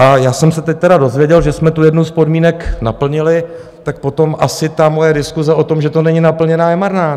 A já jsem se teď tedy dozvěděl, že jsme tu jednu z podmínek naplnili, tak potom asi ta moje diskuse o tom, že to není naplněné, je marná.